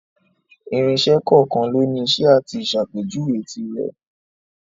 Irinṣẹ́ kọ̀ọ̀kan lóni iṣẹ́ àti ìsàpéjuwe tirẹ̀.